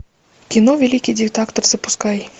кино великий диктатор запускай